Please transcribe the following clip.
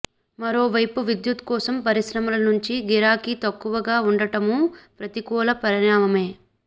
మరోవైపు విద్యుత్ కోసం పరిశ్రమల నుంచి గిరాకీ తక్కువగా ఉండటమూ ప్రతికూల పరిణామమే